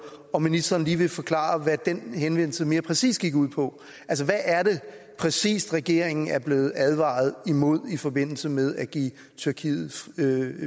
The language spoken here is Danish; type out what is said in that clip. om ministeren lige vil forklare hvad den henvendelse mere præcis gik ud på altså hvad er det præcis regeringen er blevet advaret imod i forbindelse med at give tyrkiet